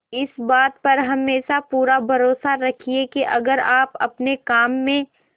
इस बात पर हमेशा पूरा भरोसा रखिये की अगर आप अपने काम में